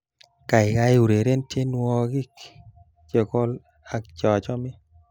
Kaikai ureren tiewokik chekol ak chachome